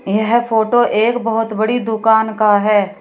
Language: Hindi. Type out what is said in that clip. यह फोटो एक बहोत बड़ी दुकान का है।